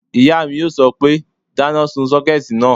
Ìyá mi yóò sọ pé, dáná sun sọ́kẹ̀tì náà!"